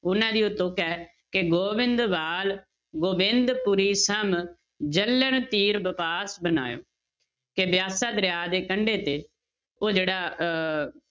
ਉਹਨਾਂ ਦੀ ਕਿ ਗੋਬਿੰਦਵਾਲ ਗੋਬਿੰਦਪੁਰੀ ਸਮ ਜਲਨ ਤੀਰ ਬਿਪਾਸ ਬਨਾਇਓ, ਕਿ ਬਿਆਸਾ ਦਰਿਆ ਦੇ ਕੰਡੇ ਤੇ ਉਹ ਜਿਹੜਾ ਅਹ